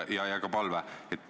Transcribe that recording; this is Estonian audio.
Aitäh!